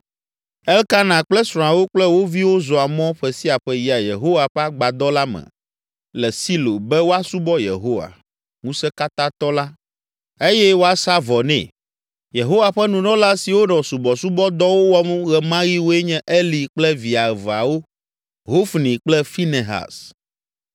Elkana kple srɔ̃awo kple wo viwo zɔa mɔ ƒe sia ƒe yia Yehowa ƒe agbadɔ la me le Silo be woasubɔ Yehowa, ŋusẽkatãtɔ la, eye woasa vɔ nɛ. Yehowa ƒe nunɔla siwo nɔ subɔsubɔdɔwo wɔm ɣe ma ɣi woe nye Eli kple via eveawo; Hofni kple Finehas.